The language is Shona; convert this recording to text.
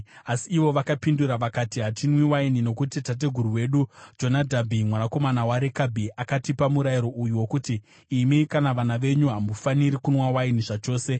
Asi ivo vakapindura vakati, “Hatinwi waini, nokuti tateguru wedu Jonadhabhi mwanakomana waRekabhi akatipa murayiro uyu wokuti, ‘Imi kana vana venyu hamufaniri kunwa waini zvachose.